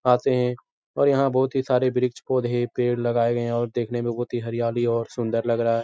आते हैं और यहाँ बोहोत ही सारे बृछ पोधे-पेड़ लगाये गये हैं और देखने मे बोहोत ही हरयाली और सुन्दर लग रहा है।